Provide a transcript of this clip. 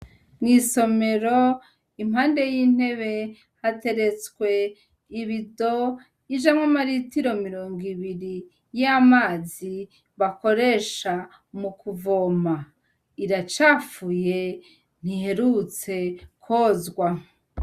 Mw'isomero impande y'intebe hateretswe ibido ijamwo amaritiro mirongo ibiri y'amazi bakoresha mu kuvoma. Iracafuye ntiherutse kozwa.